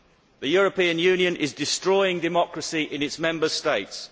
The European Union is destroying democracy in its Member States.